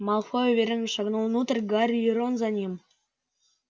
малфой уверенно шагнул внутрь гарри и рон за ним